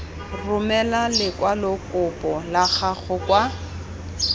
romela lekwalokopo la gago kwa